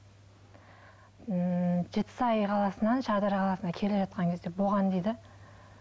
ммм жетісай қаласынан шардара қаласына келе жатқан кезде болған дейді